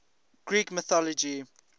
greek mythology